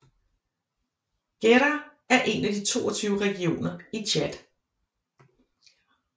Guéra er en af de 22 regioner i Tchad